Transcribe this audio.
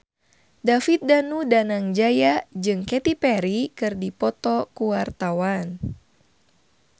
David Danu Danangjaya jeung Katy Perry keur dipoto ku wartawan